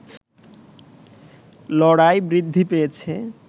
লড়াই বৃদ্ধি পেয়েছে